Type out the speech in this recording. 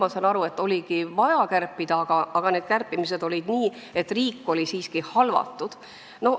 Ma saan aru, et seda oligi vaja teha, aga need kärped olid siiski sellised, et riik oli halvatud.